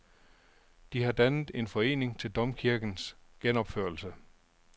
De har dannet en forening til domkirkens genopførelse.